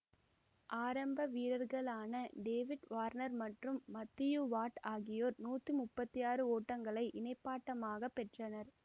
ஆரம்ப வீரர்களான David Warner மற்றும் மத்தியூ வாட் ஆகியோர் நூற்றி முப்பத்தி ஆறு ஓட்டங்களை இணைப்பாட்டமாக பெற்றனர்